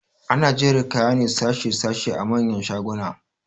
Ana jera kaya ne sashe sashe a manyan shaguna